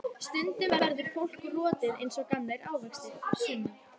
Stundum verður fólk rotið eins og gamlir ávextir, Sunna.